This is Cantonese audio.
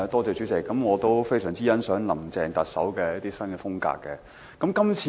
主席，我非常欣賞林鄭特首的一些管治新風格。